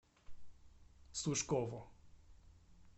сушкову